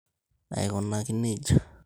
Aikunaki nejia.